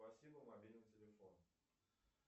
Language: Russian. спасибо мобильный телефон